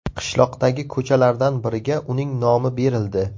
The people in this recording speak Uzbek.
Qishloqdagi ko‘chalardan biriga uning nomi berildi.